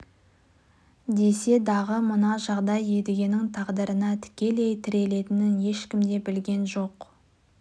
десе дағы мына жағдай едігенің тағдырына тікелей тірелетінін ешкім де білген жоқ